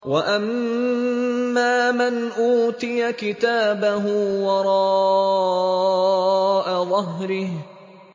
وَأَمَّا مَنْ أُوتِيَ كِتَابَهُ وَرَاءَ ظَهْرِهِ